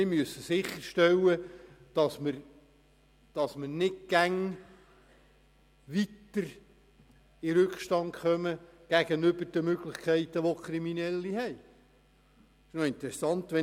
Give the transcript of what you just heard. Wir müssen sicherstellen, dass wir gegenüber den Möglichkeiten, die Kriminelle haben, nicht stets weiter in Rückstand geraten.